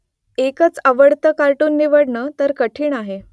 एकच आवडतं कार्टून निवडणं तर कठिण आहे